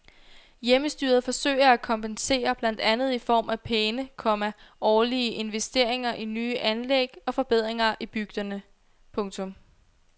Hjemmestyret forsøger at kompensere blandt andet i form af pæne, komma årlige investeringer i nye anlæg og forbedringer i bygderne. punktum